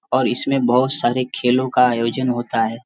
पर इसमें बहुत सारे खेलों का आयोजन होता है